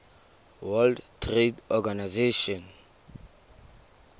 world trade organization